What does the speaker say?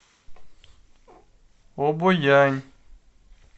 обоянь